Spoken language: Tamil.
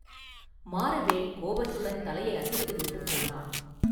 மாறவேள் கோபத்துடன் தலையை அசைத்து விட்டுப் போனான்.